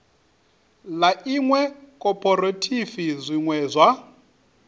ḽa iṅwe khophorethivi zwine zwa